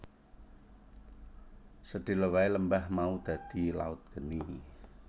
Sedhela wae lembah mau dadi laut geni